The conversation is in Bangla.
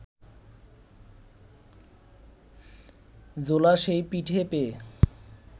জোলা সেই পিঠে পেয়ে